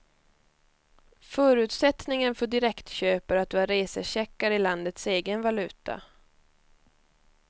Förutsättningen för direktköp är att du har resecheckar i landets egen valuta.